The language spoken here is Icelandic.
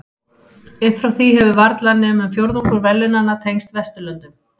Upp frá því hefur varla nema um fjórðungur verðlaunanna tengst Vesturlöndum.